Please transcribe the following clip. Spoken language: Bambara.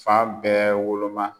Fan bɛɛ woloma.